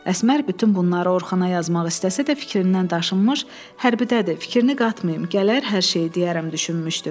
Əsmər bütün bunları Orxana yazmaq istəsə də fikrindən daşınmış, hərbidədir, fikrini qatmayım, gələr hər şeyi deyərəm düşünmüşdü.